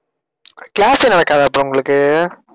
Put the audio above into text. class யே நடக்காத அப்ப உங்களுக்கு?